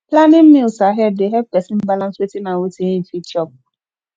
planning meals ahead dey help person balance wetin and wetin im fit chop